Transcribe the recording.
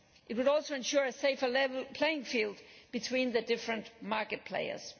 It would also ensure a safer level playing field between the different market players.